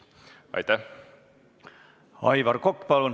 Aivar Kokk, palun!